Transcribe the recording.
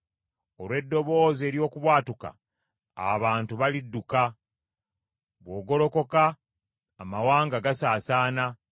Olw’eddoboozi ery’okubwatuka, abantu balidduka, bw’ogolokoka, amawanga gasaasaana.